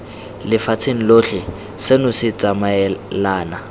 lefatsheng lotlhe seno se tsamaelana